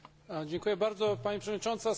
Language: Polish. Dziękuję bardzo Pani Przewodnicząca!